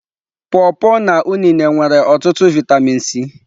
Pọ pọ na unịne nwere otutu vitamin C.